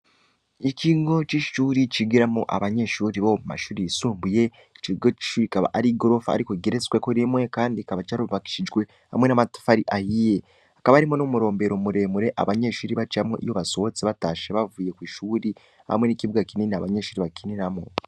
Ikigo c'ishure cigiramwo amashure y'isumbuye icokigo c'ishure akaba arigorofa rigeretseko rimwe kandi carubakishijwe n' amatafari ahiye hakaba hariho n'umurombero muremure abanyeshure bacamwo iyo basohotse batashe bavuye kw' ishure hamwe n'ikibuga kinini abanyeshure bakiniramwo